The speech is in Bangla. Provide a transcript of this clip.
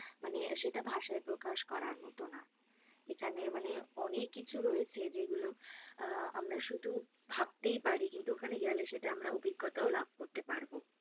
মানে সেটা ভাষায় প্রকাশ করার মতো না। এখানে মানে অনেক কিছু রয়েছে যেগুলো আহ আমরা শুধু ভাবতেই পারি কিন্তু ওখানে গেলে সেটা আমরা অভিঙ্গতা লাভ করতে পারবো।